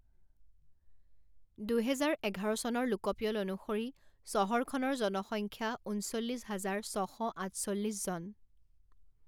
দুহেজাৰ এঘাৰ চনৰ লোকপিয়ল অনুসৰি চহৰখনৰ জনসংখ্যা ঊনচল্লিছ হাজাৰ ছশ আঠচল্লিছজন।